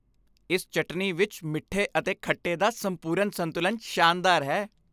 ਇਸ ਚਟਨੀ ਵਿੱਚ ਮਿੱਠੇ ਅਤੇ ਖੱਟੇ ਦਾ ਸੰਪੂਰਨ ਸੰਤੁਲਨ ਸ਼ਾਨਦਾਰ ਹੈ।